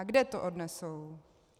A kde to odnesou?